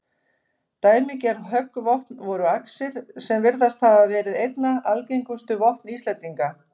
Dæmigerð höggvopn voru axir, sem virðast hafa verið einna algengustu vopn Íslendinga.